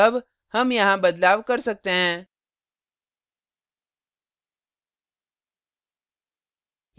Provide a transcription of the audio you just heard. अब हम यहाँ बदलाव कर सकते हैं